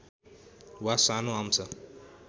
वा सानो अंश